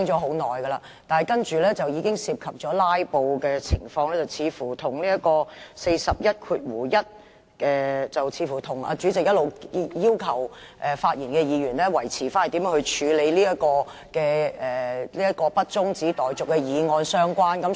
她的發言涉及"拉布"，這似乎關乎第411條，以及主席一直對議員發言的要求，即內容必須圍繞這項不中止待續的議案。